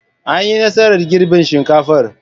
An yi nasarar girbin shinkafar.